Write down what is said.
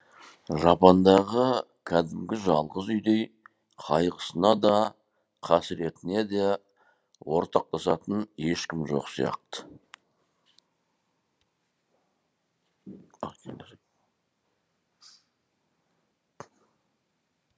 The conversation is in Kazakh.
жапандағы кәдімгі жалғыз үйдей қайғысына да қасіретіне де ортақтасатын ешкім жоқ сияқты